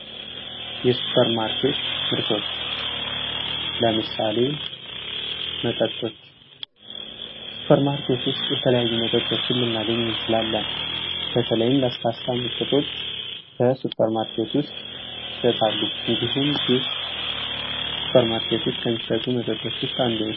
የሱፐር ማርኬት ምርቶች ለምሳሌ መጠጦች ሱፐር ማርኬት ውስጥ የተለያዩ መጠጦችን ልናገኚ እንቺላለን በተለይ ለስላሳ መጠጦች በሱፐርማርኬት ውስጥ ይሸጣሉ እንዲሁም ጁስ ሱፐርማርኬት ውስጥ ከሚሸጡ መጠጦች ውስጥ አንዱ ነው።